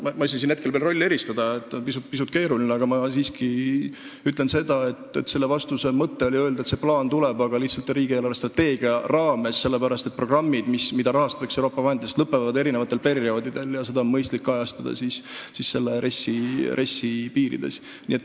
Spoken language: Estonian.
Ma ei saa siin hetkel küll veel rolle eristada, see oleks pisut keeruline, aga ma siiski ütlen nii: selle vastuse mõte oli öelda, et plaan tuleb, aga lihtsalt riigi eelarvestrateegia raames, sellepärast, et programmid, mida rahastatakse Euroopa vahenditest, lõpevad eri perioodidel ja seda kõike on mõistlik kajastada RES-i piires.